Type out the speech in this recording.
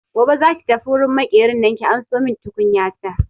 Gobe za ki tafi wurin Maƙerin nan ki ansomin tukunyata!